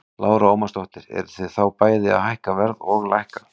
Lára Ómarsdóttir: Eruð þið þá bæði að hækka verð og lækka?